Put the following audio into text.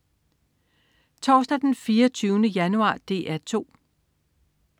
Torsdag den 24. januar - DR 2: